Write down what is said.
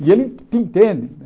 E ele te entende.